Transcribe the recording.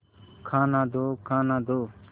खाना दो खाना दो